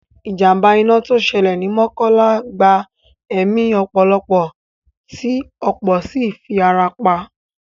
Ìjàmbá iná tó ṣẹlẹ̀ ni Mọ́kọ́lá gba ẹ̀mí ọ̀pọ̀lọpọ̀ tí ọ̀pọ̀ sì fi ara pa